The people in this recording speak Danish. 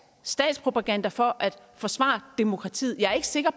statspropaganda for at forsvare demokratiet jeg er ikke sikker